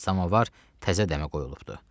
Samovar təzə dəmə qoyulubdur.